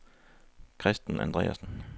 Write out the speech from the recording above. Kristen Andreassen